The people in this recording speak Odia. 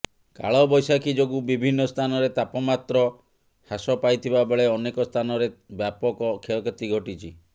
କାଳବୈଶାଖୀ ଯୋଗୁଁ ବିଭିନ୍ନ ସ୍ଥାନରେ ତାପମାତ୍ର ହ୍ରାସ ପାଇଥିବା ବେଳେ ଅନେକ ସ୍ଥାନରେ ବ୍ୟାପକ କ୍ଷୟକ୍ଷତି ଘଟିଛି